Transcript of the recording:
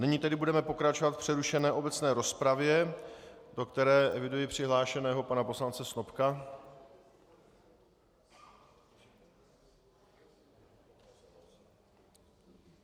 Nyní tedy budeme pokračovat v přerušené obecné rozpravě, do které eviduji přihlášeného pana poslance Snopka.